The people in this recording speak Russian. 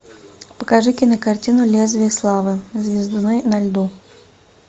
покажи кинокартину лезвие славы звездуны на льду